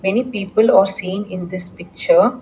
many people are seen in this picture.